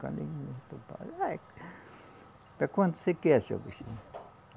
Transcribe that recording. Para quando você quer, seu bichinho?